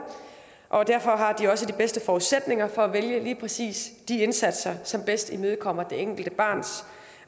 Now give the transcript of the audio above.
og derfor har de også de bedste forudsætninger for at vælge lige præcis de indsatser som bedst imødekommer det enkelte barns